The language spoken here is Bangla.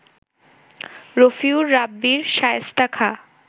রফিউর রাব্বির শায়েস্তা খাঁ